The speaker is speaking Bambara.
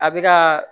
A bɛ ka